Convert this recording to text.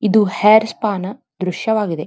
ಇದು hair spa ನ ದೃಶ್ಯವಾಗಿದೆ.